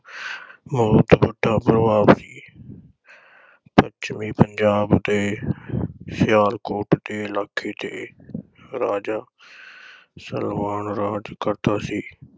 ਬਹੁਤ ਵੱਡਾ ਪ੍ਰਭਾਵ ਸੀ ਪੱਛਮੀ ਪੰਜਾਬ ਦੇ ਸਿਆਲਕੋਟ ਦੇ ਇਲਾਕੇ ਤੇ ਰਾਜਾ ਸਲਵਾਨ ਰਾਜ ਕਰਦਾ ਸੀ।